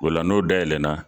O la n'o dayɛlɛ na